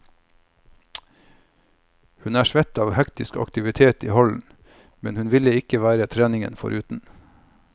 Hun er svett av hektisk aktivitet i hallen, men ville ikke vært treningen foruten.